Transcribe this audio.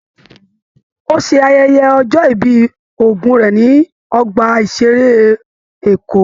Ò ṣe ayẹyẹ ọjọ́ ìbí ogún rẹ nínú Ọgbà ìṣeré Èkó.